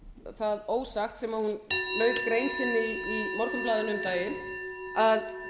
það ósagt sem hún lauk grein sinni í morgunblaðinu um daginn að